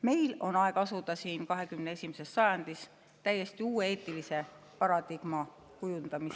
Meil on aeg asuda 21. sajandil täiesti uue eetilise paradigma kujundamisele.